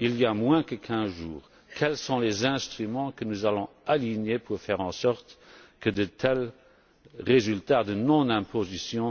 il y a moins de 15 jours, quels sont les instruments que nous allons déployer pour faire en sorte que de tels phénomènes de non imposition